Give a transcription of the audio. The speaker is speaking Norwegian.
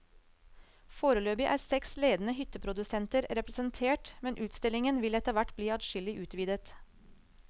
Foreløpig er seks ledende hytteprodusenter representert, men utstillingen vil etter hvert bli adskillig utvidet.